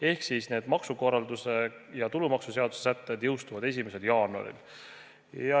Ehk siis need maksukorralduse ja tulumaksuseaduse sätted jõustuvad 1. jaanuaril.